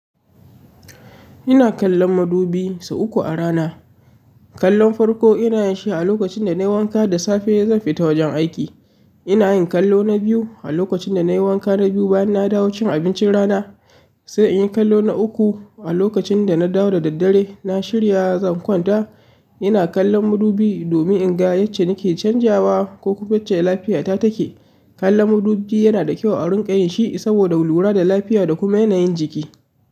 Ina kallon madubi sau uku a rana. Kallon farko ina yin shi a lokacin da nai wanka da safe zan fita wajen aiki. Ina yin kallo na biyu a lokacin da nai wanka na biyu bayan na dawo cin abincin rana sai in yi kallo na uku a lokacin da na dawo da daddare na shirya zan kwanta. Ina kallon madubi domin in ga yacce nake canjawa ko kuma yacce lafiya ta take. Kallon madubi yana da kyau a rinƙayin shi saboda lura da lafiya da kuma yanayin jiki.